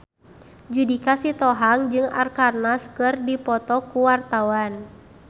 Judika Sitohang jeung Arkarna keur dipoto ku wartawan